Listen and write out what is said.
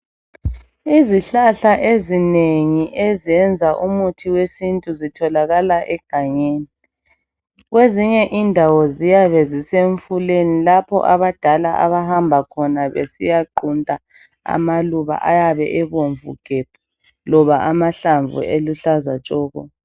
Izihlahla ezinengi ezenza umuthi wesintu zitholakala egangeni. Kwezinye indawo ziyabe zisemfuleni lapho abadala abahamba khona besiyaqunta amaluba ayabe ebomvu gebhu loba amahlamvu eluhlaza tshoko.